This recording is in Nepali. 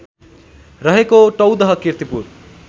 रहेको टौदह कीर्तिपुर